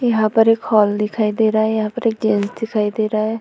यहाँ पर एक हॉल दिखाई दे रहा है। यहाँ पर एक जेंट्स दिखाई दे रहा है।